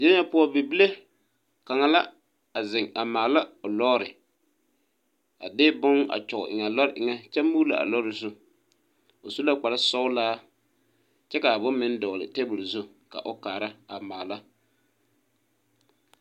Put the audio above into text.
Die na poʊ, bibile kanga la a zeŋ a maala o lɔre. A de boŋ a kyɔge eŋ a lɔre eŋe kyɛ muule a lɔre zu. O su la kpar sɔglaa kyɛ ka bon meŋ dogle tabul zu ka o kaara a maala.